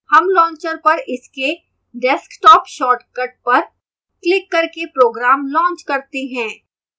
हम launcher पर इसके desktop shortcut पर क्लिक करके program launch करते हैं